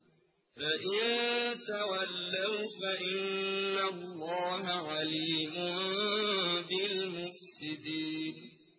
فَإِن تَوَلَّوْا فَإِنَّ اللَّهَ عَلِيمٌ بِالْمُفْسِدِينَ